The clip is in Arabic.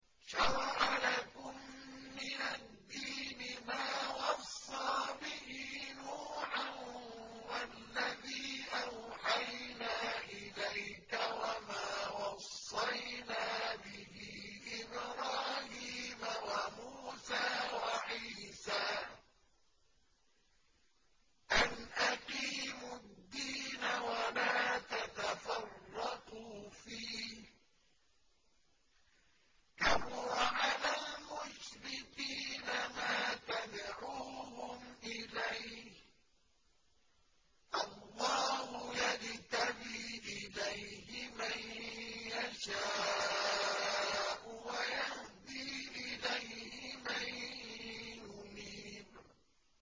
۞ شَرَعَ لَكُم مِّنَ الدِّينِ مَا وَصَّىٰ بِهِ نُوحًا وَالَّذِي أَوْحَيْنَا إِلَيْكَ وَمَا وَصَّيْنَا بِهِ إِبْرَاهِيمَ وَمُوسَىٰ وَعِيسَىٰ ۖ أَنْ أَقِيمُوا الدِّينَ وَلَا تَتَفَرَّقُوا فِيهِ ۚ كَبُرَ عَلَى الْمُشْرِكِينَ مَا تَدْعُوهُمْ إِلَيْهِ ۚ اللَّهُ يَجْتَبِي إِلَيْهِ مَن يَشَاءُ وَيَهْدِي إِلَيْهِ مَن يُنِيبُ